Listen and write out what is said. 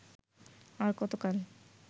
আর কতকাল